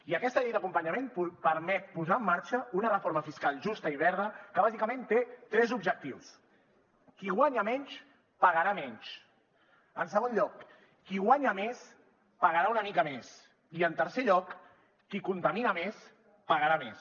i aquesta llei d’acompanyament permet posar en marxa una reforma fiscal justa i verda que bàsicament té tres objectius qui guanya menys pagarà menys en segon lloc qui guanya més pagarà una mica més i en tercer lloc qui contamina més pagarà més